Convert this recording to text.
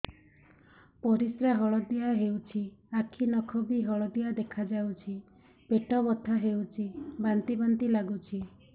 ପରିସ୍ରା ହଳଦିଆ ହେଉଛି ଆଖି ନଖ ବି ହଳଦିଆ ଦେଖାଯାଉଛି ପେଟ ବଥା ହେଉଛି ବାନ୍ତି ବାନ୍ତି ଲାଗୁଛି